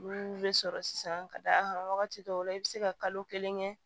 Olu bɛ sɔrɔ sisan ka da a kan wagati dɔw la i bɛ se ka kalo kelen kɛ